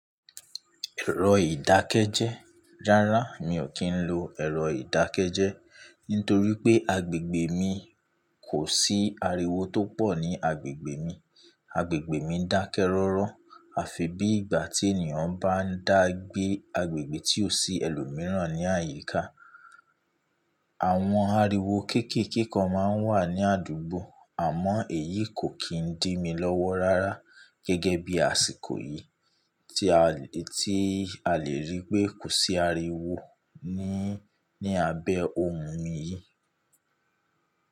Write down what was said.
Ẹ̀rọ ìdákẹ́jẹ́. Rárá, mi ò kí ń lo ẹ̀rọ ìdákẹ́jẹ́ nítorí pé agbègbè mi kò sí ariwo tó pọ̀ ní agbègbè mi. Agbègbè mi dákẹ́ rọ́rọ́. Àfi bí ìgbà tí ènìyàn bá ń dàgbé agbègbè tí ò sí ẹlòmíràn ní àyíká. Àwọn ariwo kéékèèké kan má ń wà ní àdúgbò àmọ́ èyí kò kí ń dí mi lọ́wọ́ rárá gẹ́gẹ́ bí àsìkò yìí tí a lè rí pé kò sí ariwo ní abẹ́ ohùn mi yìí.